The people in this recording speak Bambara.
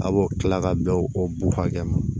A b'o kila ka bɛn o b'o hakɛ ma